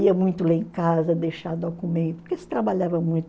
Ia muito ler em casa, deixar documento, porque se trabalhava muito.